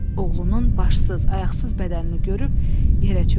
Oğlunun başsız, ayaqsız bədənini görüb yerə çökdü.